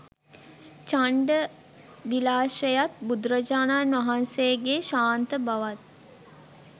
චණ්ඩ විලාශයත් බුදුරජාණන් වහන්සේගේ ශාන්ත බවත්